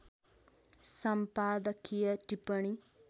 सम्पादकीय टिप्पणी